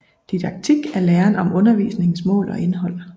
Didaktik er læren om undervisningens mål og indhold